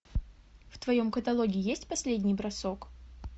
в твоем каталоге есть последний бросок